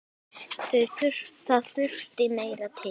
Það þurfti meira til.